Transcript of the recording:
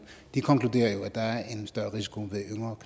de konkluderer jo at der er en større risiko ved yngre